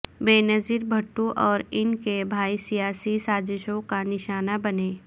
بینظیر بھٹو اور ان کے بھائی سیاسی سازشوں کا نشانہ بنے